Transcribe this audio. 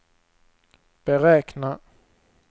beräkna